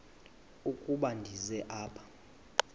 ukuba ndize apha